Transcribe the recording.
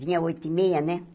Vinha oito e meia, né?